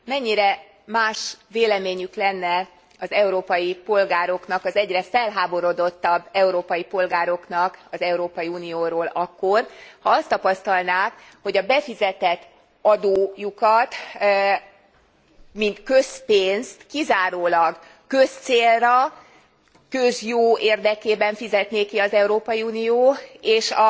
Mennyire más véleményük lenne az európai polgároknak, az egyre felháborodottabb európai polgároknak az Európai Unióról akkor, ha azt tapasztalnák, hogy a befizetett adójukat, mint közpénzt kizárólag közcélra, közjó érdekében fizetné ki az Európai Unió és